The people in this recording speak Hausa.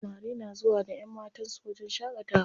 Samari na zuwa da ƴanmatan su wajen shaƙatawa.